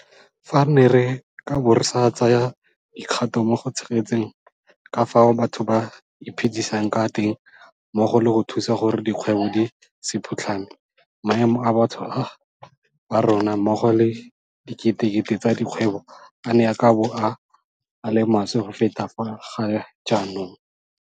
Fa re ne re ka bo re sa tsaya dikgato mo go tshegetseng ka fao batho ba iphedisang ka teng mmogo le go thusa gore dikgwebo di se phutlhame, maemo a batho ba rona mmogo le a diketekete tsa dikgwebo a ne a ka bo a le maswe go feta a ga jaanong.